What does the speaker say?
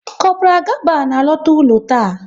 Kopral Gaba na-alọta ụlọ taa